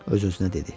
Öz-özünə dedi.